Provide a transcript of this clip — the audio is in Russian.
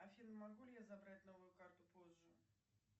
афина могу ли я забрать новую карту позже